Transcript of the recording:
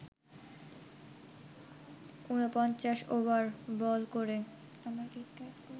৪৯ over ball করে